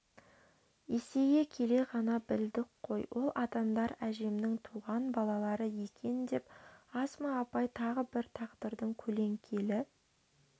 есейе келе ғана білдік қой ол адамдар әжемнің туған балалары екен деп асма апай тағы бір тағдырдың көлеңкелі